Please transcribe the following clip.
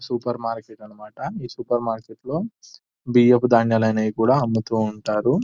super market అన్నమాట ఈ సూపర్ మార్కెట్లో బియ్యపు ధాన్యాలు అయినాయి కూడా అమ్ముతూ ఉంటారు --